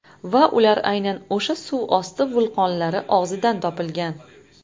Va ular aynan o‘sha suvosti vulqonlari og‘zidan topilgan.